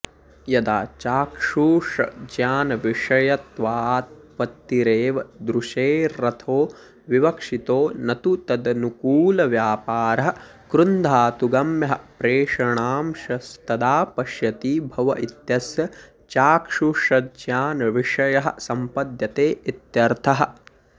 यदा चाक्षुषज्ञानविषयत्वापत्तिरेव दृशेरर्थो विवक्षितो न तु तदनुकूलव्यापारः कृञ्धातुगम्यः प्रेषणांशस्तदा पश्यति भव इत्यस्य चाक्षुषज्ञानविषयः संपद्यते इत्यर्थः